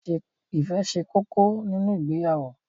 Ìfẹ́ ṣe kókó nínu ìgbéyàwó.